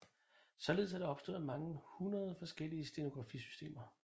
Således er der opstået mange hundrede forskellige stenografisystemer